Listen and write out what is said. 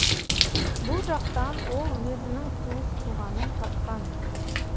бұл жақтан ол өзінің туыс туғанын тапқан